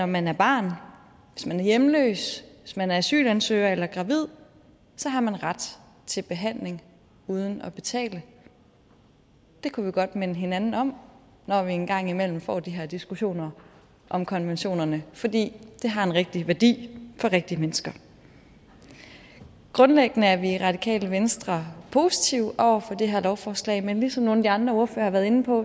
man er barn hvis man er hjemløs hvis man er asylansøger eller gravid så har man ret til behandling uden at betale det kunne vi godt minde hinanden om når vi engang imellem får de her diskussioner om konventionerne fordi det har en rigtig værdi for rigtige mennesker grundlæggende er vi i radikale venstre positive over for det her lovforslag men som nogle af de andre ordførere har været inde på